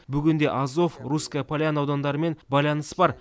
бүгінде азов русская поляна аудандарымен байланыс бар